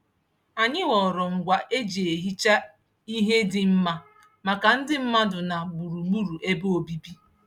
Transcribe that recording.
Anyị họọrọ ngwa e ji ehicha ihe dị mma maka ndị mmadụ na gburugburu ebe obibi.